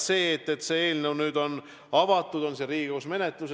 See eelnõu on nüüd avatud, on siin Riigikogus menetluses.